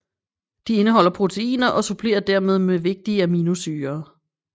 De indeholder proteiner og supplerer dermed med vigtige aminosyrer